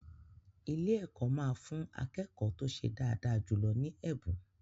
Ilé-ẹ̀kọ́ máa fún akẹ́kọ̀ọ́ tó ṣe dáadáa jù lọ ní ẹ̀bùn.